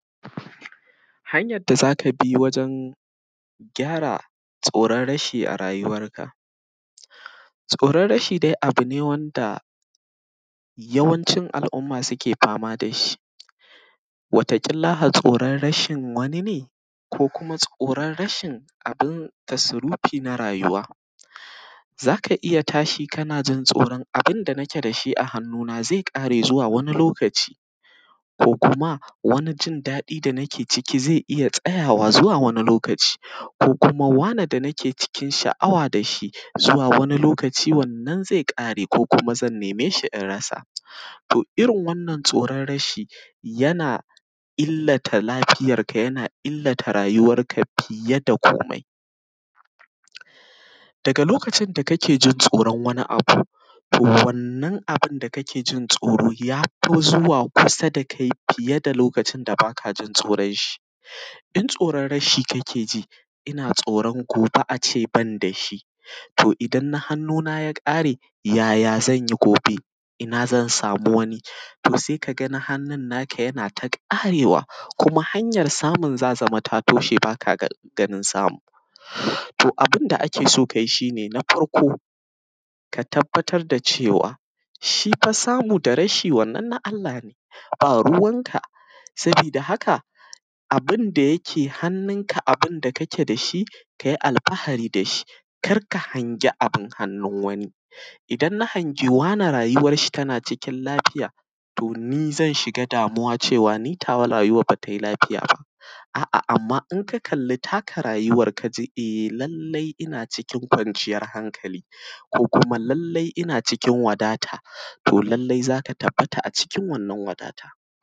Hanyan da za ka bi wajen gyara tsoron rashi a rayuwanka. Tsoron rashi dai abu ne wanda yawancin al’umma suke fama da shi. Wata ƙilla tsoron rashin wani ne, ko kuma tsoron rashin abun tasrufi na rayuwa. Za ka iya tashi kana jin tsoron abun da nake da shi a hannu na, ze ƙare, zuwa wani lokaci; ko kuma wani jin daɗi da nake ciki, ze tsayawa zuwa wani lokaci; ko kuma wane da nake cikin sha’awa da shi, zuwa wani lokaci, wannan ze ƙare; ko kuma zan neme shi in rasa. To irin wannan tsoron rashi yana illata lafiyar ka, yana illata rayuwar ka fiye da komai. daga lokacin da kake tsoron wani abu, to wannan abun da kake tsoro, ya fi zuwa kusa da kai fiye da lokacin da baka jin tsoron shi. Idan tsoron rashi kake ji ina tsoron gobe a ce ban da shi, to idan na hannu na ya ƙare, yaya zan yi? Komai ina zan samu wani? To se ka ga na hannu naka yana ta ƙarewa, ko kuma hanyan samu na za ta sama ta toshe, ba ka ganin samu. To abun da ake so ka yi, to shi ne: na farko, ka tabbatar da cewa shi fa samu da rashi, wannan na Allah ne, ba ruwan ka. Sabi da haka, abun da yake hannunka, abun da kake da shi, ka yi alfahari da shi, kar ka hangi abun hannu wani. Idan na hangi wane, rayuwar shi na cikin lafiya, to ni zan shiga damuwa, to ni, nawa rayuwa ba tai lafiya ba? a-a, amma in ka kalli takar rayuwa, kaji: e, lallai in cikin kwanciyan hankali; ko kuma lallai ina cikin wadata, to lallai za ka tabbata a cikin wannan wadata.